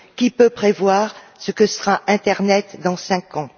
Qui peut prévoir ce que sera l'internet dans 5 ans?